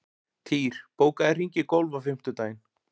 Týr, bókaðu hring í golf á fimmtudaginn.